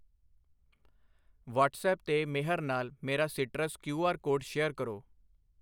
WhatsApp 'ਤੇ ਮੇਹਰ ਨਾਲ ਮੇਰਾ Citrus Q R code share ਕਰੋ I